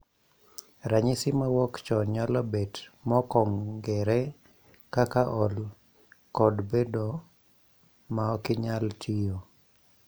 . Ranyisi mawuok chon nyalo bed mokong'ere kaka ol kod bedo ma okinyal tiyo